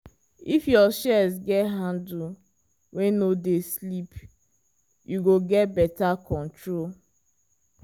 if your shears get handle wey no dey slip you go get better control.